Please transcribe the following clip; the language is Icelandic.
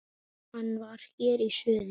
Hann var hér í suður.